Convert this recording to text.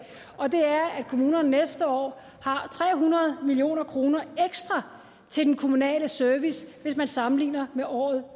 og det er at kommunerne næste år har tre hundrede million kroner ekstra til den kommunale service hvis man sammenligner med året